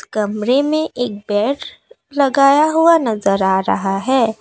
कमरे में एक बेड लगाया हुआ नजर आ रहा है।